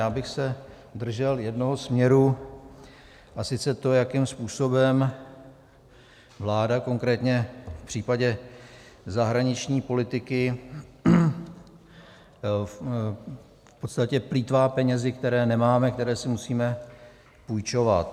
Já bych se držel jednoho směru, a sice to, jakým způsobem vláda konkrétně v případě zahraniční politiky v podstatě plýtvá penězi, které nemáme, které si musíme půjčovat.